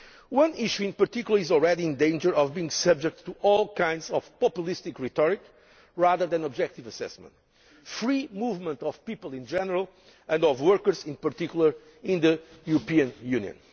One issue in particular is already in danger of being subject to all kinds of populist rhetoric rather than objective assessment the free movement of people in general, and of workers in particular, in the European Union.